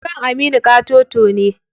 Kan Aminu ƙatoto ne.